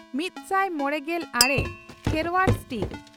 ᱢᱤᱛᱥᱟᱭ ᱢᱚᱲᱮᱜᱮᱞ ᱟᱨᱮ ᱠᱷᱮᱨᱣᱟᱲ ᱥᱴᱤᱠ ᱾